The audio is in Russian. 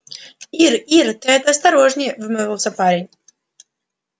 ир ир ты это осторожнее взмолился парень